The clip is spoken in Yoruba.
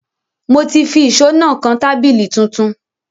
Mo ti fi ìṣó náà kan tábìlì tuntun